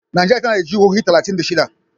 Najeriya tana da jihohi talatin da shida.